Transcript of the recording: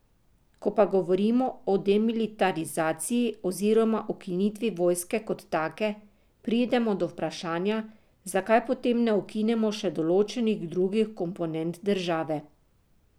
Ko pa govorimo o demilitarizaciji oziroma ukinitvi vojske kot take, pridemo do vprašanja, zakaj potem ne ukinemo še določenih drugih komponent države?